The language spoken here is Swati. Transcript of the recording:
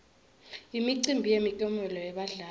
imicimbi yemiklomelo yebadlali